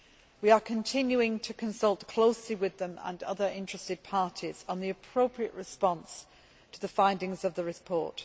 We are continuing to consult closely with them and other interested parties on the appropriate response to the findings of the report.